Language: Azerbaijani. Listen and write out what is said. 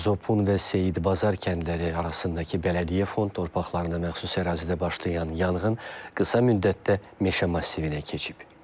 Zopun və Seyidbazar kəndləri arasındakı bələdiyyə fond torpaqlarına məxsus ərazidə başlayan yanğın qısa müddətdə meşə massivinə keçib.